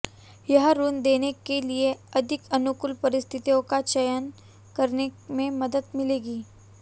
यह ऋण देने के लिए अधिक अनुकूल परिस्थितियों का चयन करने में मदद मिलेगी